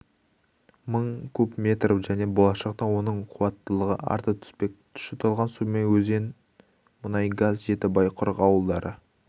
мың куб метр және болашақта оның қуаттылығы арта түспек тұщытылған сумен өзенмұнайгаз жетібай құрық ауылдары